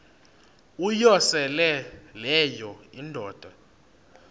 uyosele leyo indoda